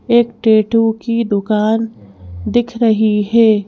एक टैटू की दुकान दिख रही है।